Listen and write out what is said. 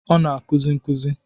Ọ na-akuzi nkuzi.